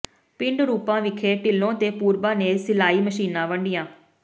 ਪਿੰਡ ਰੂਪਾ ਵਿਖੇ ਢਿੱਲੋਂ ਤੇ ਪੂਰਬਾ ਨੇ ਸਿਲਾਈ ਮਸ਼ੀਨਾਂ ਵੰਡੀਆਂ